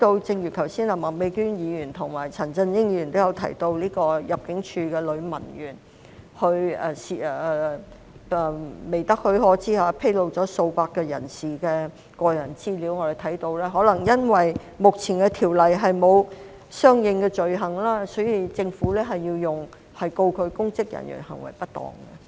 正如麥美娟議員和陳振英議員剛才都提到入境處一名女文員在未得許可下，披露了數百位人士的個人資料，我們看到可能由於目前《私隱條例》沒有訂定相應罪行，所以政府要控告她公職人員行為失當。